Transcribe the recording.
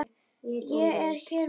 Ég er hér með bréf!